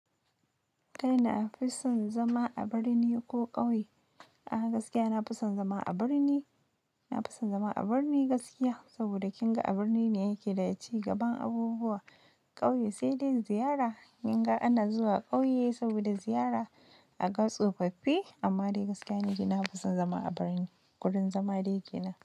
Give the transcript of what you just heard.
Kai na fi son zama a birni ko ƙauye? A'a gaskiya, na fi son zama a birni. Na fi son zama a birni gaskiya, saboda kin ga a birni ne yake da ya ci gaban abubuwa. Ƙauye sai dai ziyara. Kin ga ana zuwa ƙauye saboda ziyara aka tsofaffi, amma dai gaskiya ne ki na fi son zama a birni. Kudan zama dai ke nan.